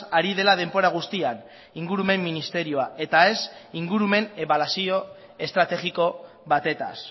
ari dela denbora guztian ingurumen ministerioa eta ez ingurumen ebaluazio estrategiko batetaz